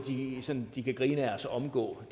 de kan grine af og så omgå